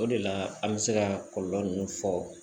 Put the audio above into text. O de la an bɛ se ka kɔlɔlɔ min fɔ